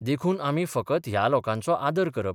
देखून आमी फकत ह्या लोकांचो आदर करप.